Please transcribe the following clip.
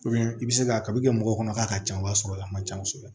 i bɛ se ka kaba kɛ mɔgɔw kɔnɔ k'a ka ca o b'a sɔrɔ a man ca kosɛbɛ